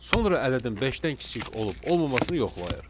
Sonra ədədin beşdən kiçik olub-olmamasını yoxlayır.